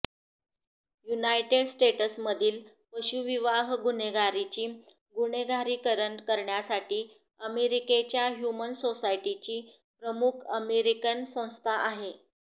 United स्टेट्समधील पशूविवाह गुन्हेगारीचे गुन्हेगारीकरण करण्यासाठी अमेरिकेच्या ह्यूमन सोसायटीची प्रमुख अमेरिकन संस्था आहे